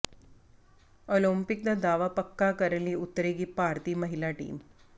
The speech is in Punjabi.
ਓਲੰਪਿਕ ਦਾ ਦਾਅਵਾ ਪੱਕਾ ਕਰਨ ਉਤਰੇਗੀ ਭਾਰਤੀ ਮਹਿਲਾ ਟੀਮ